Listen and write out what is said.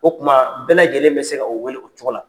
O kuma bɛɛ lajɛlen bɛ se ka wele o cogo la.